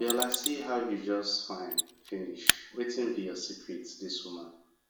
mama abiola see how you just fine finish wetin be your secret dis woman